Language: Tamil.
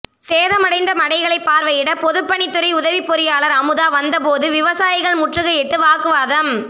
சேதமடைந்த மடைகளை பார்வையிட பொதுப்பணித்துறை உதவி பொறியாளர் அமுதா வந்த போது விவசாயிகள் முற்றுகையிட்டு வாக்குவாதம்